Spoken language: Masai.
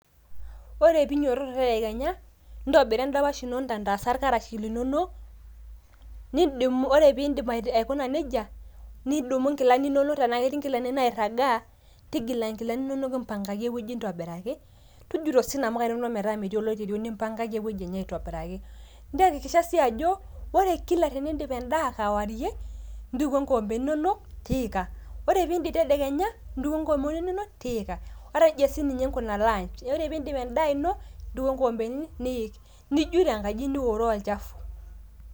Ore pinyototo tedekenya intobira endapash ino intantasa irkarash linonok nidumu, ore pindip aita aikuna nejia nidumu inkilani inonok tenaa ketii inkilani nairagaa ,tigila nkilani inonok mpangaki ewueji ntobiraki ,tujuto sii nkamuka metaa metii oloirerio, nimpangaki ewuji enye aitobiraki ntekikisha sii ajo ,ore kila tenidip endaa kewarie ntukuo nkikombeni inonok tiika ,ore piindip tedekenya ntukuo nkikombeni inonok tiika ,nejia siininye nkuna lunch ore piindip endaa ino ntukuo nkikombeni niik ,nijut enkaji nioro olchafu .